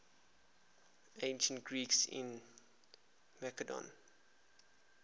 ancient greeks in macedon